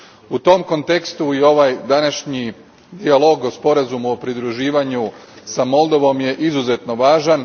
U tom kontekstu je ovaj današnji dijalog o Sporazumu o pridruživanju sa Moldovom izuzetno važan.